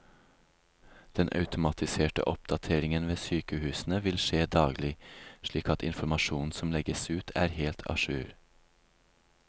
Den automatiserte oppdateringen ved sykehusene vil skje daglig, slik at informasjonen som legges ut er helt a jour.